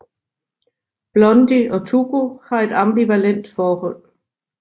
Blondie og Tuco har et ambivalent forhold